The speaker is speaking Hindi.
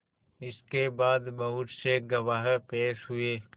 इसके बाद बहुत से गवाह पेश हुए